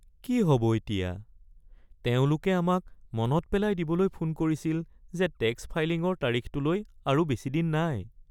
কি হ'ব এতিয়া! তেওঁলোকে আমাক মনত পেলাই দিবলৈ ফোন কৰিছিল যে টেক্স ফাইলিঙৰ তাৰিখটোলৈ আৰু বেছি দিন নাই।